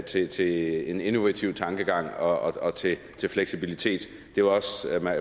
til til en innovativ tankegang og og til fleksibilitet